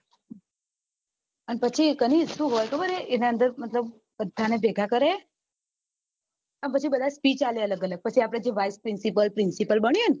અને પછી કનિશ શું હોય ખબર હે એટલે મતલબ બધા ને ભેગા કરે અને પછી બધાને speech આપે અલગ અલગ જે આપડ vice principal principal બન્યું હોય